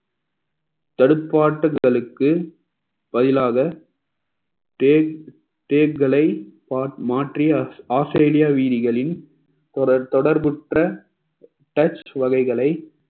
தடுப்பு ஆட்டத்தலுக்கு பதிலாக தே~ தேக்குகளை மா~ மாற்றிய ஆஸ்திரேலியா வீதிகளில் ஒரு தொடர்புற்ற touch வகைகளை